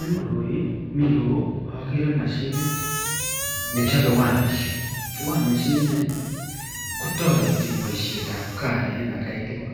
En koroi miten ireyu okere mashinit nechobe wire mesh, wire mesh inii kotoreti boishetab kaa en atkai tukul,